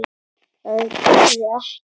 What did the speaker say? Það dugði ekki.